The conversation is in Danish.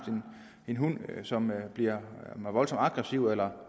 en hund som bliver voldsomt aggressiv eller